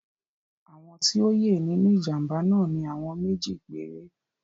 Àwọn tí o ye nínú ìjàmbá náà ni àwọn méjì péré.